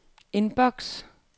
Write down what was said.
indboks